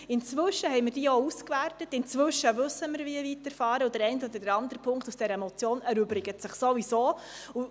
Inzwischen haben wir diese ausgewertet, und wir wissen, wie wir weiterfahren müssen, und der eine oder andere Punkt dieser Motion erübrigt sich ohnehin.